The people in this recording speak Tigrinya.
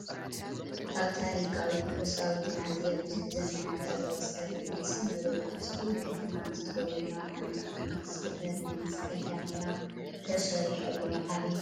ኣብ ታሪካዊት ቅርሳዊትን ኣዝያ ብዙሕ ዘማናት ዘቁፀረት ናይ ሰብ መቦቀል ዝኮነት ከተማ እንትትከውን ኣብ ዓመት ዓመት ዝክበር ናይ መስቀል ዳመራ ተሰሪሑ ኣሎ። ኣበይ ከተማ እዩ?